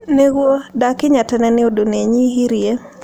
Nĩguo, ndakinya tene nĩ ũndũ nĩ nyihirie